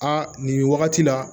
A nin wagati la